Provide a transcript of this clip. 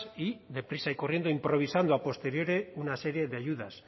y de prisa y corriendo improvisando a posteriori una serie de ayudas